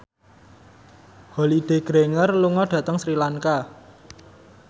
Holliday Grainger lunga dhateng Sri Lanka